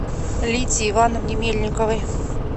лидии ивановне мельниковой